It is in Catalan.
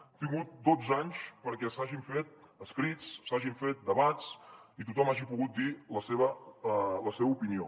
hem tingut dotze anys perquè s’hagin fet escrits s’hagin fet debats i tothom hagi pogut dir la seva opinió